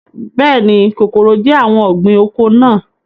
Bẹ́ẹ̀ni, kòkòrò jẹ́ àwọn ọ̀gbìn oko náà